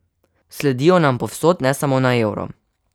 Sledijo nam povsod, ne samo na euro.